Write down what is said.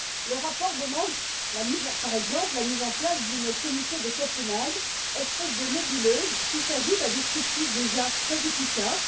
Le rapport demande, par exemple, la mise en place d'une commission de Copenhague, une espèce de nébuleuse qui s'ajoute à des structures déjà très efficaces.